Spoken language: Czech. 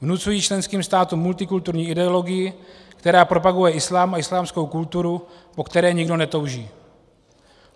Vnucují členským státům multikulturní ideologii, která propaguje islám a islámskou kulturu, po které nikdo netouží.